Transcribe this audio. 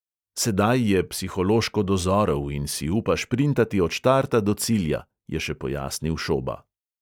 Sedaj je psihološko dozorel in si upa šprintati od štarta do cilja, je še pojasnil šoba.